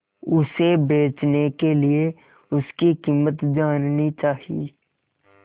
उसे बचने के लिए उसकी कीमत जाननी चाही